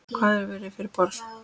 Hvað hefur fyrir borið?